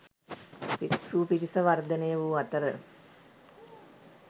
භික්‍ෂු පිරිස වර්ධනය වූ අතර